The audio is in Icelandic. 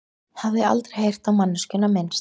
Hafði aldrei heyrt á manneskjuna minnst.